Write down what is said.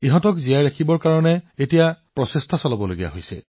কিন্তু এতিয়া মানুহে এইদৰে কয় যে শেষৰ বাৰ ঘৰচিৰিকা কেতিয়া দেখা গৈছিল